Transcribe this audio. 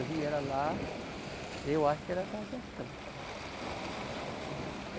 Eu vi ela lá, eu acho que ela está gestante.